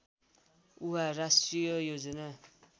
उहाँ राष्ट्रिय योजना